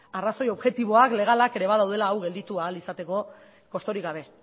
arrazoi objektiboak legalak ere badaudela hau gelditu ahal izateko kosturik gabe